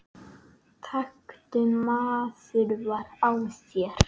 taktu maður vara á þér